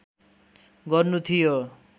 गर्नु थियो